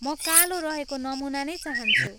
म कालो रहेको नमुना नै चाहन्छु।